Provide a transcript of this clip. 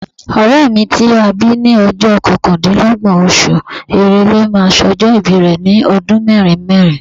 Ọ̀rẹ́ mi ti a bí ní ọjọ́ kọkàndínlọ́gbọ̀n oṣù Èrèlè máa sọjọ́ ìbí rẹ̀ ní ọdún mẹ́rin mẹ́rin.